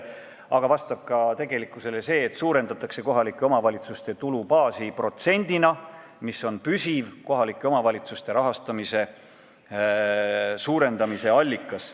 Aga vastab tõele ka see, et suurendatakse kohalike omavalitsuste tulubaasi protsendina, mis on püsiv omavalitsuste rahastamise suurendamise allikas.